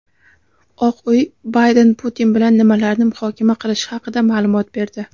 Oq uy Bayden Putin bilan nimalarni muhokama qilishi haqida maʼlumot berdi.